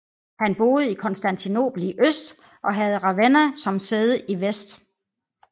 Han boede i Konstantinopel i øst og havde Ravenna som sæde i vest